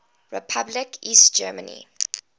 republic east germany